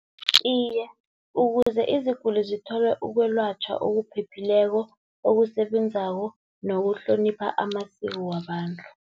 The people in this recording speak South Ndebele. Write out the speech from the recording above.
Iye, ukuze iziguli zithole ukwelatjhwa okuphephileko, okusebenzako nokuhlonipha amasiko wabantu.